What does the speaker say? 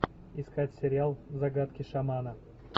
искать сериал загадки шамана